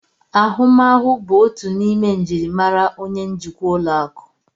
Ahụmahụ bụ otu n'ime njirimara onye njikwa ụlọ akụ